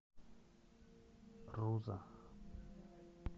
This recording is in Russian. руза